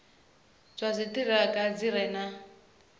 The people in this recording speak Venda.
zwa dziṱhirakha zwi re na